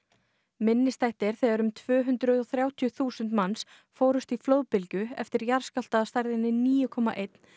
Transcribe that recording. minnisstætt er þegar um tvö hundruð og þrjátíu þúsund manns fórust í fljóðbylgju eftir jarðskjálfta af stærðinni níu komma einn